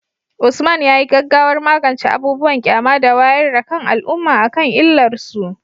Usman, yayi gaggawar magance abubuwan ƙyama da wayar da kan al’umma akan illar su.